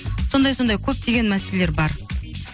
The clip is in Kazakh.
сондай сондай көптеген мәселелер бар